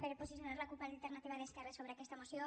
per posicionar la cup alternativa d’esquerres sobre aquesta moció